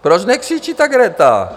Proč nekřičí ta Greta?